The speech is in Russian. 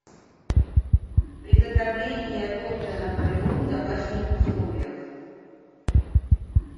приготовление торта наполеон в домашних условиях